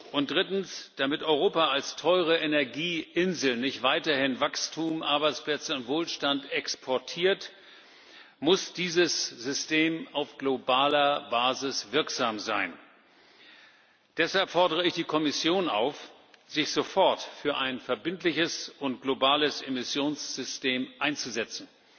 Und drittens Damit Europa als teure Energieinsel nicht weiterhin Wachstum, Arbeitsplätze und Wohlstand exportiert, muss dieses System auf globaler Basis wirksam sein. Deshalb fordere ich die Kommission auf, sich sofort für ein verbindliches und globales Emissionssystem einzusetzen.